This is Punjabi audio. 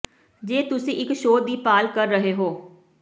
ਜੇ ਤੁਸੀਂ ਇੱਕ ਸ਼ੋਅ ਦੀ ਭਾਲ ਕਰ ਰਹੇ ਹੋ